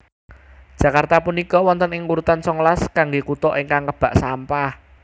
Jakarta punika wonten ing urutan songolas kangge kuto ingkang kebak sampah